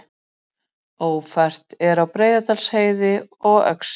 Ófært er á Breiðdalsheiði og Öxi